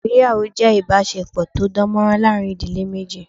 Ìgbéyàwó jé ìbásepò tó dánmórán láàrin ìdílé méjì